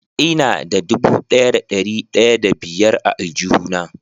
Ina da dubu daya da dari daya da biyar a aljuhu na.